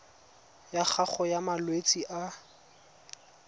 ya gago ya malwetse a